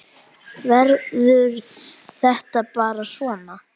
Verður þetta bara svona?